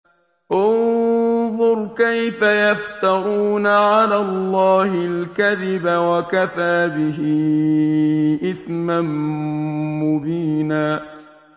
انظُرْ كَيْفَ يَفْتَرُونَ عَلَى اللَّهِ الْكَذِبَ ۖ وَكَفَىٰ بِهِ إِثْمًا مُّبِينًا